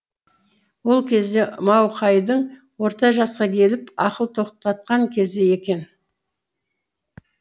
ол кезде мауқайдың орта жасқа келіп ақыл тоқтатқан кезі екен